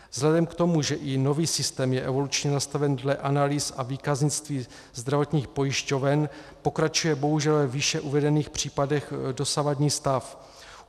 Vzhledem k tomu, že i nový systém je evolučně nastaven dle analýz a výkaznictví zdravotních pojišťoven, pokračuje bohužel ve výše uvedených případech dosavadní stav.